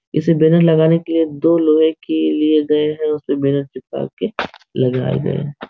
इसे बैनर लगाने के लिए दो लोहे के लिए गए हैं उसपे बैनर चिपका के लगाए गए --